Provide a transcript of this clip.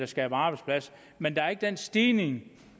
skaber arbejdspladser men der er ikke den stigning